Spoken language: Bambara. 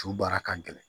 Su baara ka gɛlɛn